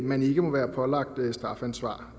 man ikke må være pålagt strafansvar